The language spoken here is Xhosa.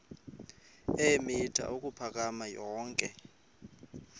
eemitha ukuphakama yonke